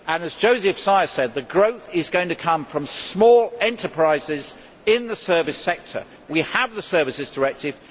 As József Szájer said, the growth is going to come from small enterprises in the service sector. We have the Services Directive.